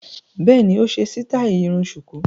Bẹ́ẹ̀ni, ó ṣe sítáì irun ṣùkú.